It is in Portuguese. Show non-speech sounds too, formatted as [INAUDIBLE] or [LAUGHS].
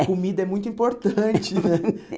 A comida é muito importante, né? [LAUGHS]